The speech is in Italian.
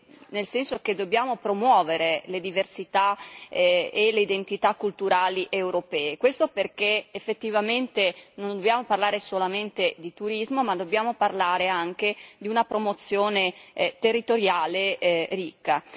dicendo che dobbiamo promuovere le diversità e le identità culturali europee, e questo perché effettivamente non dobbiamo parlare solamente di turismo, ma dobbiamo parlare anche di una promozione territoriale ricca.